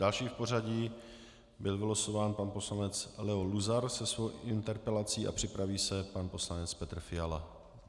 Další v pořadí byl vylosován pan poslanec Leo Luzar se svou interpelací a připraví se pan poslanec Petr Fiala.